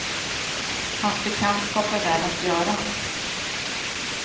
Hans bekantskap är värd att göra.